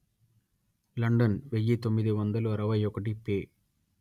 London వెయ్యి తొమ్మిది వందలు అరవై ఒకటి పే